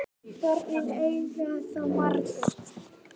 Börnin eiga þá marga